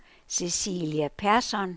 Cecilie Persson